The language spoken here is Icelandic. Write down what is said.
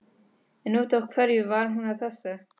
En út af hverju var hún að þessu?